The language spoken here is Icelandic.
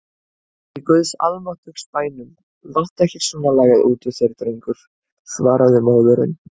Í guðs almáttugs bænum láttu ekki svona lagað út úr þér drengur, svaraði móðirin.